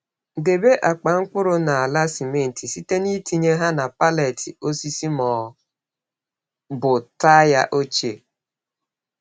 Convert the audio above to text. Debe akpa mkpụrụ n'ala simenti site n'itinye ha na pallet osisi ma ọ bụ taya ochie.